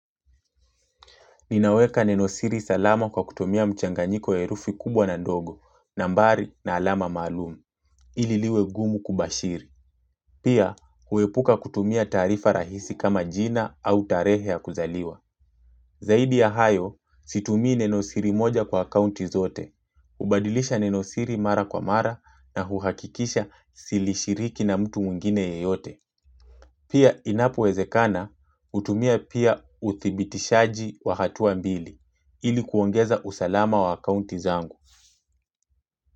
Ninaweka nenosiri salama kwa kutumia mchanganyiko wa herufi kubwa na ndogo, nambari, na alama maalum. Ili liwe gumu kubashiri. Pia, huepuka kutumia taarifa rahisi kama jina au tarehe ya kuzaliwa. Zaidi ya hayo, situmii nenosiri moja kwa akaunti zote. Hubadilisha nenosiri mara kwa mara, na huhakikisha silishiriki na mtu mwingine yeyote. Pia inapowezekana, hutumia pia uthibitishaji wa hatua mbili ili kuongeza usalama wa akaunti zangu.